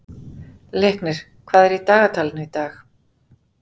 Leiknir, hvað er í dagatalinu í dag?